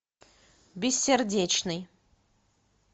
бессердечный